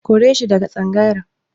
Kore shi daga tsangayar.